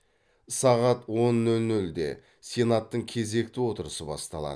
сағат он нөл нөлде сенаттың кезекті отырысы басталады